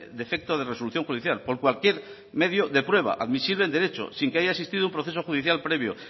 defecto de resolución judicial por cualquier medio de prueba admisible en derecho sin que haya existido un proceso judicial previo